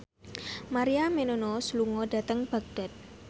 Maria Menounos lunga dhateng Baghdad